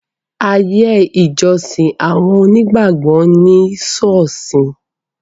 Ààyè ìjọsìn àwọn onígbàgbọ̀ ni Sọ́ọ́sì